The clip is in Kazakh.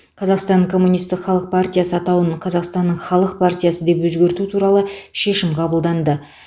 қазақстан коммунистік халық партиясы атауын қазақстанның халық партиясы деп өзгерту туралы шешім қабылданды